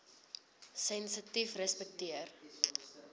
sensitiefrespekteer